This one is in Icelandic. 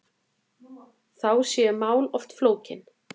Þá séu mál oft flókin.